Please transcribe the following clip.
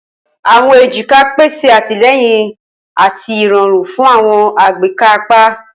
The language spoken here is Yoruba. Awọn ejika pese atilẹyin ati irọrun fun awọn agbeka apa.